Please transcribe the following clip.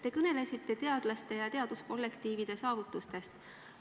Te kõnelesite teadlaste ja teaduskollektiivide saavutustest.